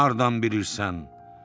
Bunu hardan bilirsən?